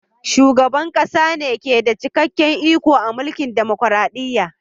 Shugaban ƙasa ne ke da cikakken iko a mulkin dumukuradiyya.